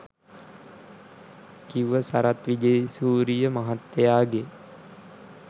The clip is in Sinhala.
කිව්ව සරත් විජේසූරිය මහත්තයගෙ